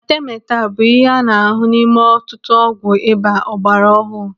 Atemeta bụ ihe a na-ahụ n'ime ọtụtụ ọgwụ ịba ọgbara ọhụụ.